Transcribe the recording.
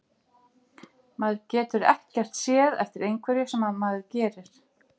Maður getur ekkert séð eftir einhverju sem maður gerir.